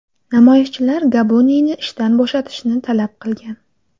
Namoyishchilar Gabuniyni ishdan bo‘shatishni talab qilgan.